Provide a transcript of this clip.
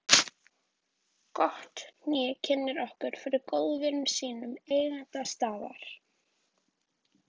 Gott hné kynnir okkur fyrir góðvini sínum, eiganda staðar